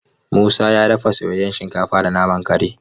Musa ya dafa soyayyen shinkafa da naman kare.